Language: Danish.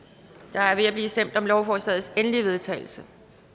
der er ved at blive stemt om lovforslagets endelige vedtagelse